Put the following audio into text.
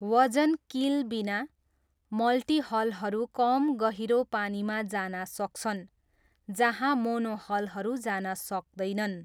वजन किल बिना, मल्टिहलहरू कम गहिरो पानीमा जान सक्छन् जहाँ मोनोहलहरू जान सक्दैनन्।